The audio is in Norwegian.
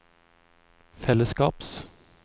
fellesskaps